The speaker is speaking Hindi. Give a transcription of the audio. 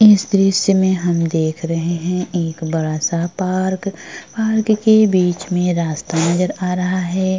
इस दृश्य में हम देख रहे है एक बड़ा सा पार्क पार्क के बीच में रस्ता नजर आ रहा है।